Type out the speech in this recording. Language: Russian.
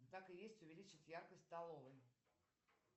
так и есть увеличить яркость в столовой